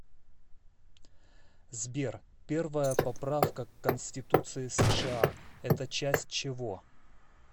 сбер первая поправка к конституции сша это часть чего